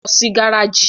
Lọ sí gáràjì!